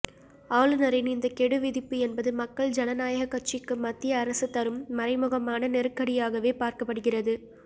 ஆளுநரின் இந்த கெடு விதிப்பு என்பது மக்கள் ஜனநாயகக் கட்சிக்கு மத்திய அரசு தரும் மறைமுகமான நெருக்கடியாகவே பார்க்கப்படுகிறது